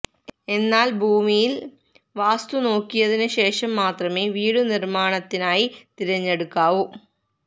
എന്നാൽ ഭൂമിയിൽ വാസ്തു നോക്കിയതിനു ശേഷം മാത്രമേ വീടു നിർമ്മാണത്തിനായി തിരഞ്ഞെടുക്കാവു